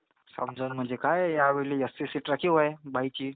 समजावून म्हणजे काय आहे जास्ती सीट राखीव आहे बाईची.